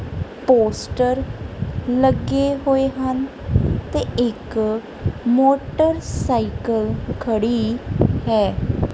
Poster ਲੱਗੇ ਹੋਏ ਹਨ ਤੇ ਇੱਕ ਮੋਟਰਸਾਈਕਲ ਖੜੀ ਹੈ।